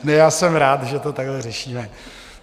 Já jsem rád, že to takhle řešíme.